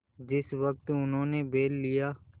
जिस वक्त उन्होंने बैल लिया